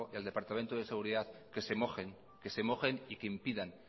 el departamento de seguridad que se mojen y que impidan